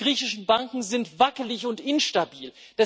Die griechischen Banken sind wackelig und instabil.